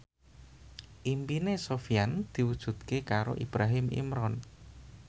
impine Sofyan diwujudke karo Ibrahim Imran